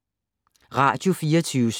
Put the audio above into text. Radio24syv